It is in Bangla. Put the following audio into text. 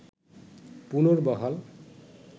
পুনর্বহাল